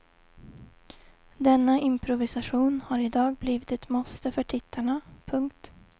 Denna improvisation har i dag blivit ett måste för tittarna. punkt